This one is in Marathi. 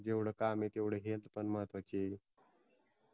जेवढ काम तेवढ HEALTH पण महत्त्वाचय